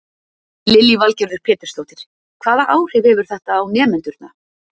Lillý Valgerður Pétursdóttir: Hvaða áhrif hefur þetta á nemendurna?